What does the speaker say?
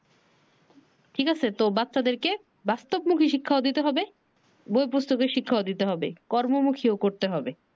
ঠিক আছে তো বাচ্চাদেরকে বাস্তব মুখী শিখাও দিতে হবে বই পুস্তকের শিক্ষাও দিতে হবে। কর্ম মুখী ও করতে হবে।